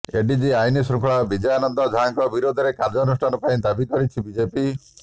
ADG ଆଇନ ଶୃଙ୍ଖଳା ବିନୟାନନ୍ଦ ଝାଙ୍କ ବିରୋଧରେ କାର୍ଯ୍ୟାନୁଷ୍ଠାନ ପାଇଁ ଦାବି କରିଛି ବିଜେପି